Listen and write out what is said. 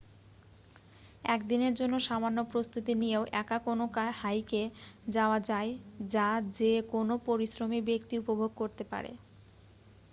এক দিনের জন্য সামান্য প্রস্তুতি নিয়েও একা কোন হাইকে যাওয়া যায় যা যে কোন পরিশ্রমী ব্যক্তি উপভোগ করতে পারে